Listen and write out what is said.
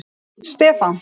Stefán